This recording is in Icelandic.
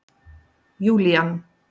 Júlían